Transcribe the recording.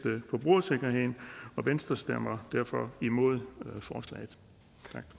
forbrugersikkerheden venstre stemmer derfor imod forslaget